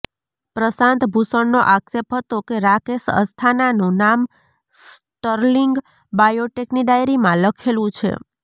પ્રશાંતભૂષણનો આક્ષેપ હતો કે રાકેશ અસ્થાનાનું નામ સ્ટર્લિંગ બાયોટેકની ડાયરીમાં લખેલું છે